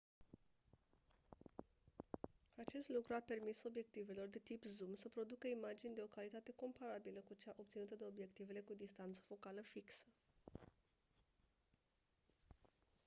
acest lucru a permis obiectivelor de tip zoom să producă imagini de o calitate comparabilă cu cea obținută de obiectivele cu distanță focală fixă